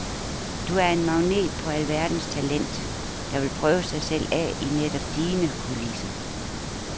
Du er en magnet på alverdens talent, der vil prøve sig selv af i netop dine kulisser.